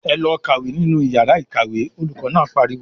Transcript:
"Ẹ lọ kàwé nínú ìyàrá-ìkàwé!" Olùkọ́ náà pariwo.